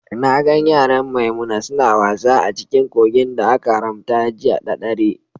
Na gan yaran Maimuna suna wasa a cikin kogin da aka haramta jiya ɗa ɗare.